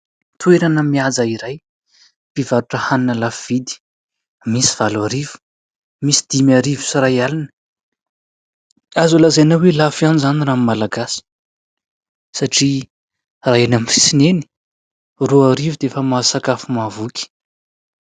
Toerana Mihaja iray mpivarotra hanina lafo vidy, misy valo arivo misy dimy arivo sy iray alina. Azo lazaina hoe lafo ihany zany aminy Malagasy satria raha eny aminy sisiny eny roa arivo dia efa mahazo sakafo mahavoky.